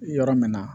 Yɔrɔ min na